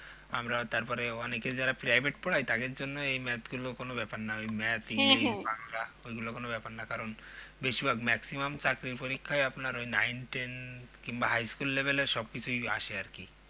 আমরা তারপরে অনেকে যারা Private পড়ায় তাদের জন্য এই Math গুলো কোনো ব্যাপার না Math english বাংলা ওগুলো কোনো ব্যাপার না কারণ বেশিরভাগ Maximum চাকরির পরীক্ষায় আপনার Nine ten কিংবা High school level এর সবকিছুই আসে আরকি